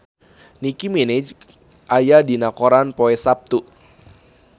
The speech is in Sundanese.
Nicky Minaj aya dina koran poe Saptu